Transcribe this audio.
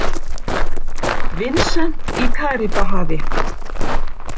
Vincent í Karíbahafi.